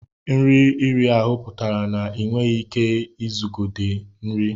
Nri iri ahụ pụtara na ị nweghị ike iguzogide nri.